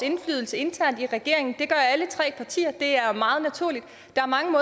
indflydelse internt i regeringen det gør alle tre partier det er meget naturligt der er mange